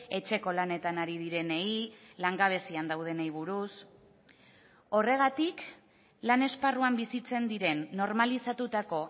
etxeko lanetan ari direnei langabezian daudenei buruz horregatik lan esparruan bizitzen diren normalizatutako